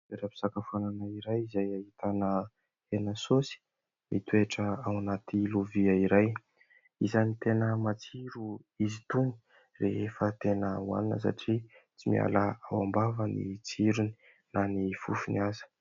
Toeram-pisakafoana iray, izay ahitana hena saosy mitoetra ao anaty lovia iray, isan'ny tena matsiro izy itony rehefa tena hohanina satria tsy miala ao am-bava ny tsirony na ny fofony aza.